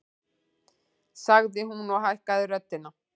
sagði hún og hækkaði röddina.